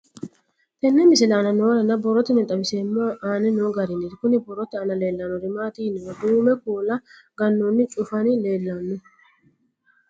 Tenne misile aana noore borroteni xawiseemohu aane noo gariniiti. Kunni borrote aana leelanori maati yiniro duume kuula ganoonni cufanni leelanno.